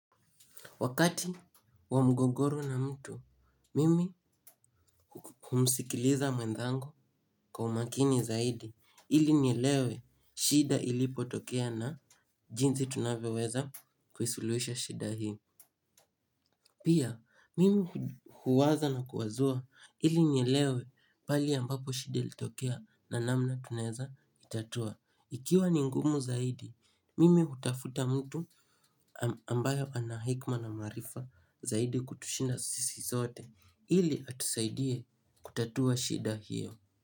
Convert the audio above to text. Wakati wa mgogoro na mtu, mimi humsikiliza mwenzangu kwa umakini zaidi ili nielewe shida ilipotokea na jinsi tunavyoweza kuisuluhisha shida hii. Pia, mimi huwaza na kuwazua ili nielewe pale ambapo shida ilitokea na namna tunaweza itatua. Ikiwa ni ngumu zaidi, mimi hutafuta mtu ambayo ana hekima na maarifa zaidi kutushinda sisi sote ili atusaidie kutatua shida hiyo.